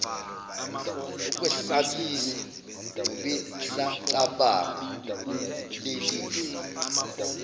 ukwesabisa nobesacabanga ubulelesi